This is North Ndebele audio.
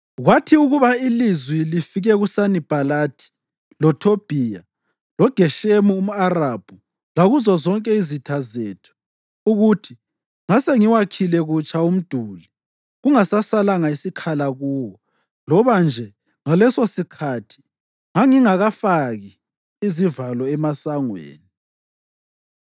Kwathi ukuba ilizwi lifike kuSanibhalathi, loThobhiya, loGeshemi umʼArabhu lakuzo zonke izitha zethu ukuthi ngasengiwakhile kutsha umduli kungasasalanga sikhala kuwo loba nje ngalesosikhathi ngangingakafaki izivalo emasangweni,